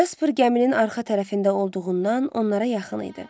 Casper gəminin arxa tərəfində olduğundan onlara yaxın idi.